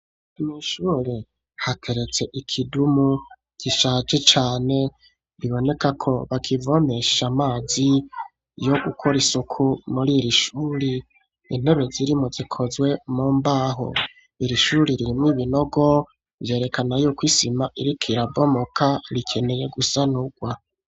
Mw'ishure hateretse ikidumu gishaje cane biboneka ko bakivomesha amazi yo gukora isuku muriri shuri intebe zirimwo zikozwe mu mbaho iri shuri rirmwo ibinogo vyerekana ko isima iriko irabomoka rikeneye gusanurwa